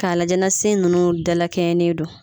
K'a lajɛ ni sin ninnu da lakɛɲɛnen do.